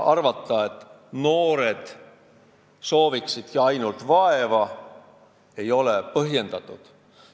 Arvata seda, et noored sooviksidki ainult vaeva, ei ole põhjendatud.